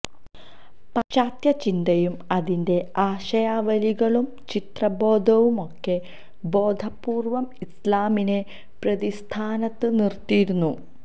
പാശ്ചാത്യ ചിന്തയും അതിന്റെ ആശയാവലികളും ചരിത്രബോധവുമൊക്കെ ബോധപൂര്വം ഇസ്ലാമിനെ പ്രതിസ്ഥാനത്ത് നിര്ത്തിയിരുന്നു